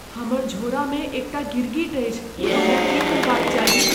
हमर झोरामे एकटा गिरगिट अछि। हमरा की करबाक चाही ?